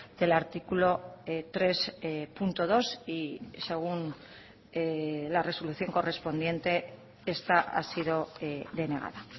del artículo tres punto dos y según la resolución correspondiente esta ha sido denegada